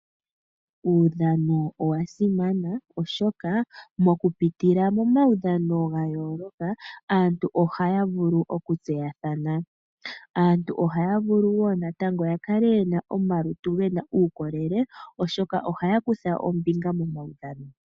Uudhano owa simana oshoka moku pitila momaudhano ga yooloka, aantu ohaya vulu okutseyathana. Aantu ohaya vulu wo natango ya kale yena omalutu gena uukolele oshoka ohaya kutha ombinga momaudhano.